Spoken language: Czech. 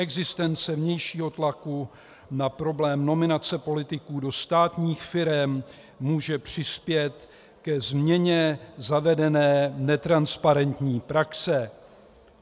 Existence vnějšího tlaku na problém nominace politiků do státních firem může přispět ke změně zavedené netransparentní praxe.